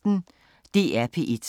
DR P1